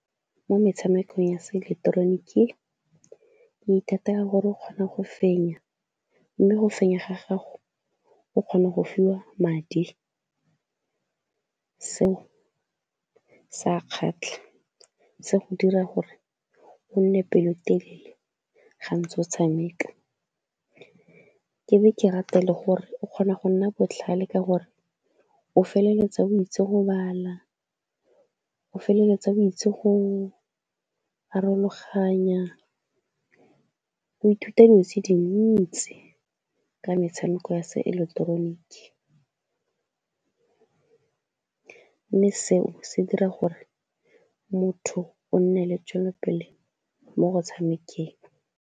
Mo metshamekong ya seeleketeroniki o ithatela gore o kgona go fenya, mme go fenya ga gago o kgona go fiwa madi, seo se a kgatlha, se go dira gore o nne pelotelele ga ntse o tshameka. Ke be ke rate le gore o kgona go nna botlhale ka gore o feleletsa o itse go bala, o feleletsa o itse go , o ithuta dilo tse dintsi ka metshameko ya seeleketeroniki, mme seo se dira gore motho o nne le tswelelopele mo go tshamekang.